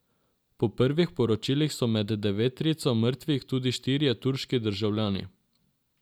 Po prvih poročilih so med deveterico mrtvih tudi štirje turški državljani.